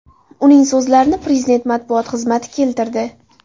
Uning so‘zlarini Prezident matbuot xizmati keltirdi .